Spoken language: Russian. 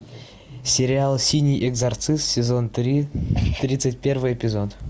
сериал синий экзорцист сезон три тридцать первый эпизод